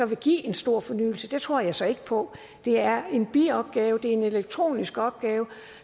vil give en stor fornyelse tror jeg så ikke på det er en biopgave det er en elektronisk opgave